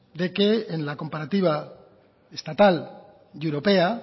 de que en la comparativa estatal y europea